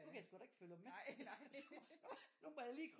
Nu kan jeg sguda ikke følge med nu må jeg lige